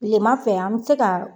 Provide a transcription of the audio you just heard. Tilema fɛ an bɛ se ka